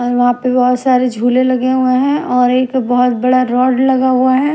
और वहां पे बहुत सारे झूले लगे हुए हैं और एक बहुत बड़ा रोड लगा हुआ है।